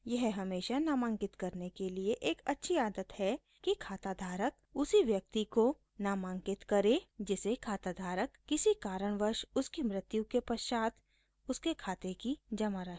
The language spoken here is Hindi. यह हमेशा नामांकित करने के लिए एक अच्छी आदत है कि खाताधारक उसी व्यक्ति को नामित करे जिसे खाताधारक किसी कारणवश उसकी मृत्यु के पश्चात उसके खाते की जमा राशि देना चाहता हो